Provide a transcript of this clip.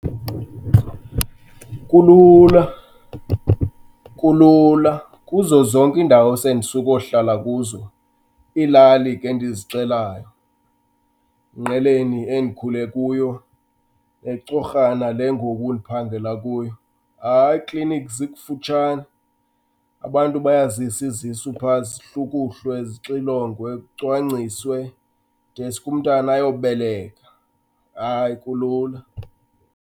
Kulula, kulula kuzo zonke iindawo esendisukohlala kuzo, iilali ke endizixelayo. INgqeleni endikhule kuyo, eCorhana le ngoku endiphanghela kuyo. Hayi iiklinikhi zikufutshane, abantu bayazisa izisu phaa zihlukuhlwe, zixilongwe, kucwangciswe deske umntana ayobeleka. Hayi, kulula.